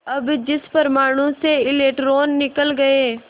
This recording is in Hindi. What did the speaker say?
अब जिस परमाणु से इलेक्ट्रॉन निकल गए